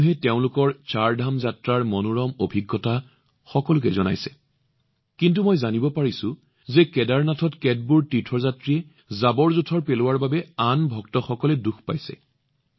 জনসাধাৰণে তেওঁলোকৰ চাৰধাম যাত্ৰাৰ মনোৰম অভিজ্ঞতা ভাগ বতৰা কৰিছে কিন্তু মই এইটোও দেখিছিলো যে কেদাৰনাথত কিছুমান তীৰ্থযাত্ৰীৰ দ্বাৰা হোৱা লেতেৰাৰ বাবে ভক্তসকল অতি দুখীও হৈছে